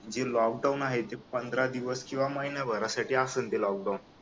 जे lockdown आहे ते पंधरा दिवस किंवा महिनाभरासाठी असेल तर लॉकडाऊन